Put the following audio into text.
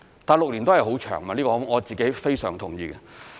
但6年亦是很長時間，這個我非常同意。